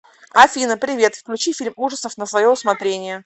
афина привет включи фильм ужасов на свое усмотрение